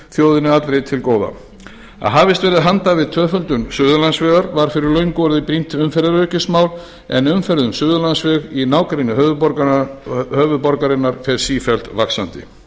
þjóðinni allri til góða að hafist verði handa við tvöföldun suðurlandsvegar var fyrir löngu orðið brýnt umferðaröryggismál en umferð um suðurlandsveg í nágrenni höfuðborgarinnar fer sífellt vaxandi